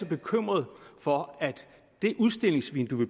bekymret for at det udstillingsvindue vi